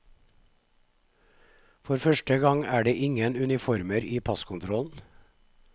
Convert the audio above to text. For første gang er det ingen uniformer i passkontrollen.